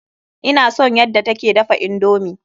Ina son yadda ta ke dafa indomi.